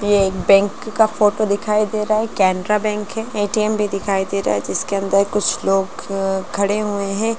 ये एक बैंक का फोटो दिखाई दे रहा है कैनरा बैंक है ए.टी.एम. भी दिखाई दे रहा है जिसके अंदर कुछ लोग खड़े हुए है।